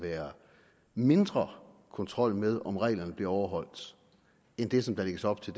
være mindre kontrol med om reglerne bliver overholdt end det som der lægges op til